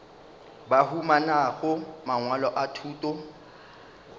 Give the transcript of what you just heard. ba humanago mangwalo a thuto